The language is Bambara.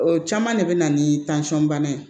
O caman de bɛ na ni bana ye